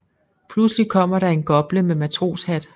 Pludselig kommer der en gople med matroshat